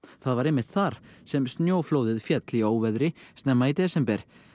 var einmitt þar sem snjóflóðið féll í óveðri snemma í desember